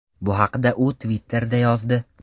Bu haqda u Twitter’da yozdi .